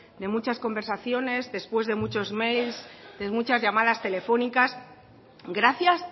de muchas conversaciones después de muchos mails de muchas llamadas telefónicas gracias